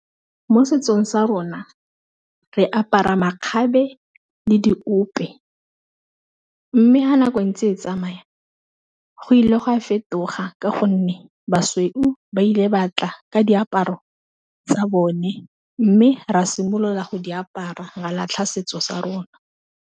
Mo setsong sa rona re apara makgabe le diope, mme ha nako e ntse e tsamaya go ile go a fetoga ka gonne basweu ba ile batla ka diaparo tsa bone, mme re a simolola go di apara malatlha setso sa rona.